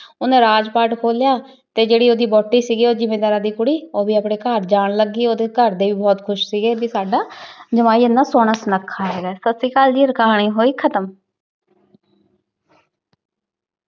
ਓਹਨੇ ਰਾਜ ਪਾਤ ਖੋਲ੍ਯਾ ਤੇ ਜੇਰੀ ਓੜੀ ਵੋਹਟੀ ਸੀਗੀ ਊ ਜ਼ਿਮੰਦਾਰਾਂ ਦੀ ਕੁਰੀ ਊ ਵੀ ਅਪਨੀ ਘਰ ਜਾਨ ਲਾਗੀ ਓਡੀ ਘਰ ਡੀ ਬੋਹਤ ਖੁਸ਼ ਸੀਗੀ ਭੀ ਸਦਾ ਜਵਾਈ ਏਨਆ ਸੋਹਨਾ ਸੁਨਾਖਾ ਆਯ ਸਾਸਰੀਕਾਲ ਜੀ ਕਹਾਨੀ ਹੋਈ ਖਤਮ